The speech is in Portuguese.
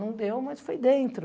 Não deu, mas foi dentro.